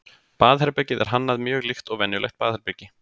baðherbergið er hannað mjög líkt og venjulegt baðherbergi